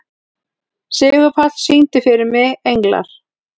Sigurpáll, syngdu fyrir mig „Englar“.